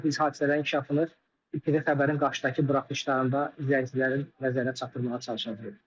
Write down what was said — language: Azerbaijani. Biz hadisələrin inkişafını növbəti xəbərin qarşıdakı buraxılışlarında izləyicilərin nəzərinə çatdırmağa çalışacağıq.